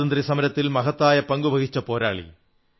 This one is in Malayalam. സ്വാതന്ത്ര്യ സമരത്തിൽ മഹത്തായ പങ്കു വഹിച്ച പോരാളി